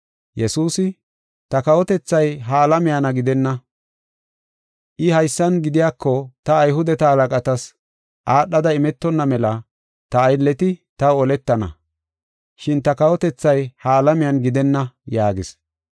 Yesuusi, “Ta kawotethay ha alamiyana gidenna. I haysan gidiyako ta Ayhudeta halaqatas aadhada imetonna mela ta aylleti taw oletana. Shin ta kawotethay ha alamiyana gidenna” yaagis.